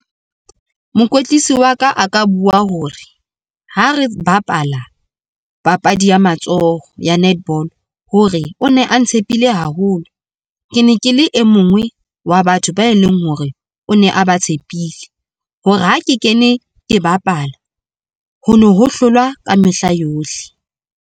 Mokwetlisi wa ka a ka bua hore ha re bapala papadi ya matsoho ya netball hore o ne a ntshepile haholo. Ke ne ke le e mongwe wa batho ba e leng hore o ne a ba tshepile hore ha ke kene, ke bapala ho no ho hlolwa ka mehla yohle.